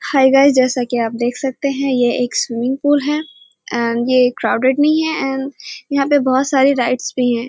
हई गाइस जैसा की आप देखे सकते हैं ये एक स्विमिंग पूल है एंड ये क्राउडेड नहीं है एण्ड यहाँ पे बहुत सारे राइड्स भी हैं।